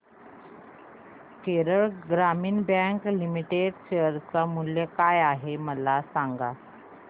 केरळ ग्रामीण bank limited share मूल्य काय आहे मला सांगा